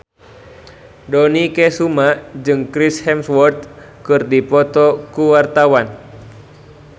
Dony Kesuma jeung Chris Hemsworth keur dipoto ku wartawan